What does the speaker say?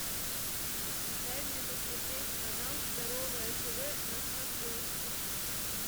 дай мне посмотреть канал здоровое тв на смотрешке